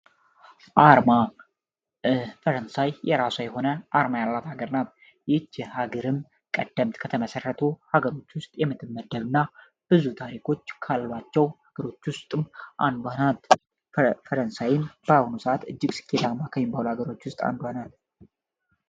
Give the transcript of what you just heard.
አርማ ፈረንሳይ የራሷ የሆነ አርማ ያላት ሀገር ናት ይችሃገርም ቀደምት ከተመሠረቱ ሀገሮች ውስጥ የምትመደብ እና ብዙ ታሪኮች ካላችሁ ሀገሮች ውስጥ አንዷ ናት። ፈረንሳይ በአሁኑ ሰዓት እጅግ ስኬታማ ከሚባሉ ሀገሮች ውስጥ አንዷ ናት።